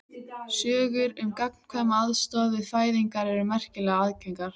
Sögur um gagnkvæma aðstoð við fæðingar eru merkilega algengar.